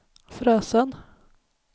Frösön